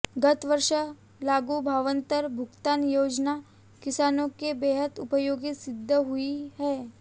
गत वर्ष लागू भावांतर भुगतान योजना किसानों के बेहद उपयोगी सिद्ध हुई है